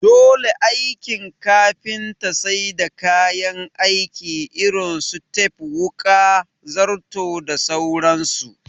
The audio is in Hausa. Dole aikin kafinta sai da kayan aiki irin su tep wuƙa, zarto da sauran su